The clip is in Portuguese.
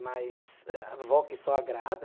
Mas a vó que só agrada.